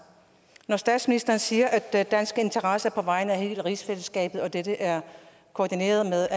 statsministeren siger at danske interesser er på vegne af hele rigsfællesskabet og at dette er koordineret